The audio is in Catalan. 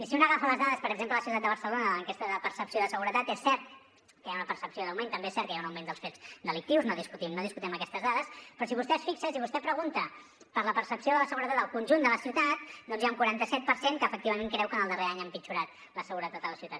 si un agafa les dades per exemple de la ciutat de barcelona de l’enquesta de percepció de seguretat és cert que hi ha una percepció d’augment també és cert que hi ha un augment dels fets delictius no discutim aquestes dades però si vostè es fixa si vostè pregunta per la percepció de la seguretat al conjunt de la ciutat doncs hi ha un quaranta set per cent que efectivament creu que en el darrer any ha empitjorat la seguretat a la ciutat